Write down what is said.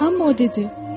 Amma o dedi: